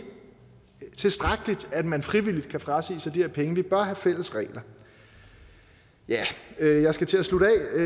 tilstrækkeligt at man frivilligt kan frasige sig de her penge vi bør have fælles regler jeg jeg skal til at slutte af